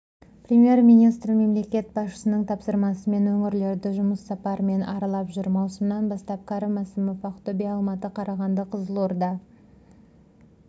премьер-министрі мемлекет басшысының тапсырмасымен өңірлерді жұмыс сапарымен аралап жүр маусымынан бастапкәрім мәсімов ақтөбе алматы қарағанды қызылорда